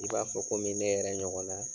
I b'a fɔ komi ne yɛrɛ ɲɔgɔn na.